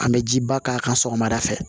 An bɛ jiba k'a kan sɔgɔmada fɛ